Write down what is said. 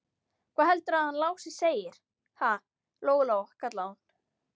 Hvað heldurðu að hann Lási segði, ha, Lóa-Lóa, kallaði hún.